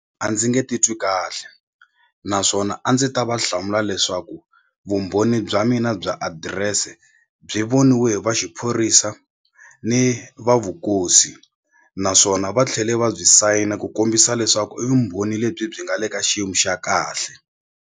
A ndzi nge titwi kahle naswona a ndzi ta va hlamula leswaku vumbhoni bya mina bya adirese byi voniwe hi va xiphorisa ni va vukosi naswona va tlhele va byi sayina ku kombisa leswaku i vumbhoni lebyi byi nga le ka xiyimo xa kahle.